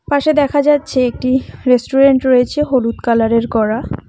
পাশে দেখা যাচ্ছে একটি রেস্টুরেন্ট রয়েছে হলুদ কালারের করা।